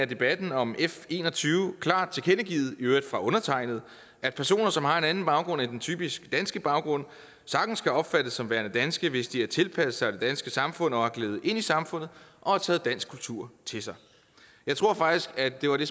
debatten om f en og tyve klart tilkendegivet i øvrigt af undertegnede at personer som har en anden baggrund end den typiske danske baggrund sagtens kan opfattes som værende danske hvis de har tilpasset sig det danske samfund og er gledet ind i samfundet og har taget dansk kultur til sig jeg tror faktisk at det var det